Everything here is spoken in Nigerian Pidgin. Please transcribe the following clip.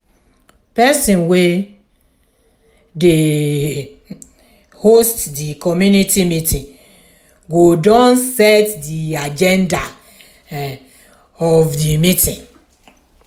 person wey um dey um host di commumity meeting go don set di aganda um of di meeting